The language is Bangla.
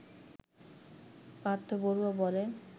পার্থ বড়ুয়া বলেন